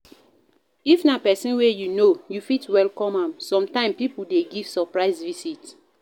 If na person wey you know, you fit welcome am, sometime pipo dey give surprise visit